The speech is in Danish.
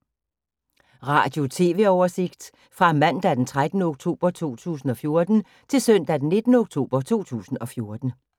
Radio/TV oversigt fra mandag d. 13. oktober 2014 til søndag d. 19. oktober 2014